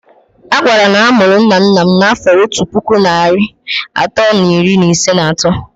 A gwara m na a mụrụ nna nna nna m n'afọ otu puku na narị atọ na iri isii na atọ.